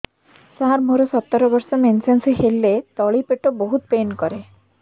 ସାର ମୋର ସତର ବର୍ଷ ମେନ୍ସେସ ହେଲେ ତଳି ପେଟ ବହୁତ ପେନ୍ କରେ